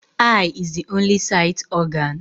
Eye is the only sight organ